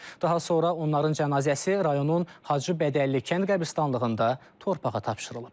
Daha sonra onların cənazəsi rayonun Hacıbədəlli kənd qəbiristanlığında torpağa tapşırılıb.